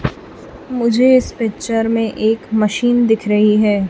मुझे इस पिक्चर में एक मशीन दिख रही है।